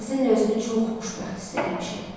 Sizinlə özümü çox xoşbəxt hiss eləmişəm.